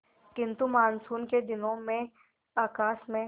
किंतु मानसून के दिनों में आकाश में